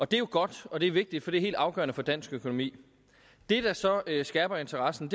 det er jo godt og det er vigtigt for det er helt afgørende for dansk økonomi det der så skærper interessen